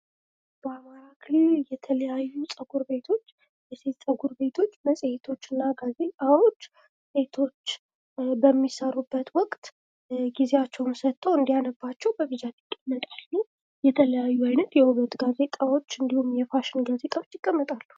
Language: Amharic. በአማራ ክልል የተለያዩ ጸጉር ቤቶች የሴት ጸጉር ቤቶች መጽሄቶችና ጋዜጣዎች ሴቶች በሚሰሩበት ወቅት ጊዜያቸውን ሰጥተው እንዲያነቡአቸው በብዛት ይቀመጣሉ። የተለያዩ አይነት የውበት ጋዜጣዎች እንዲሁም የፋሽን ጋዜጣዎች ይቀመጣሉ።